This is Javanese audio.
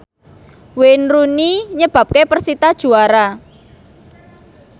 Wayne Rooney nyebabke persita juara